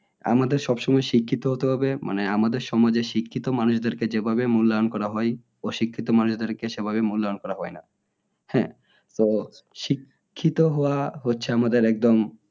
আমাদের সবসময় শিক্ষিত হতে হবে মানে আমাদের সমাজে শিক্ষিত মানুষদের কে যে ভাবে মূল্যায়ন করা হয় অশিক্ষিত মানুষদেরকে সেভাবে মূল্যায়ন করা হয় না হ্যাঁ তো শিক্ষিত হওয়া হচ্ছে আমাদের একদম